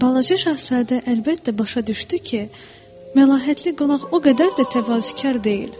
Balaca Şahzadə əlbəttə başa düşdü ki, məlahətli qonaq o qədər də təvazökar deyil.